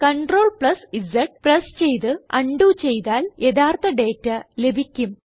CTRLZ press ചെയ്ത് ഉണ്ടോ ചെയ്താൽ യഥാർത്ഥ ഡേറ്റ ലഭിക്കും